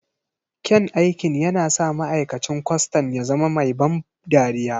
Kyan aikin yana sa ma'aikacin kwastan ya zama mai ban dariya.